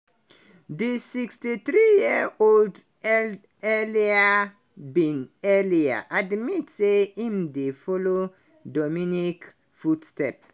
the 63-year-old earlier bin earlier admit say im dey follow dominique foot step.